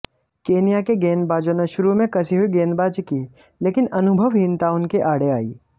Kenya के गेंदबाजों ने शुरू में कसी हुई गेंदबाजी की लेकिन अनुभवहीनता उनके आड़े आई